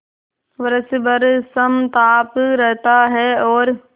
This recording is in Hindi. वर्ष भर समताप रहता है और